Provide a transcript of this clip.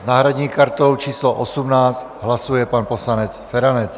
S náhradní kartou číslo 18 hlasuje pan poslanec Feranec.